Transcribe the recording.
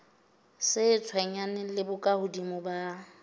sa tshwenyaneng le bokahodimo ba